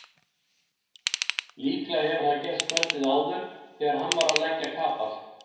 Líklega hefur það gerst kvöldið áður þegar hann var að leggja kapal.